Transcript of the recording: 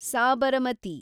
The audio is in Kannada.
ಸಾಬರಮತಿ